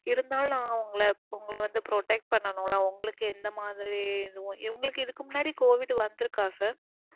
இருந்தாலும் நாங்க உங்கள உங்கள வந்து protect பண்ணணும்ல உங்களுக்கு எந்த மாதிரி. இவங்களுக்கு இதுக்கு முன்னாடி covid வந்திருக்கா sir.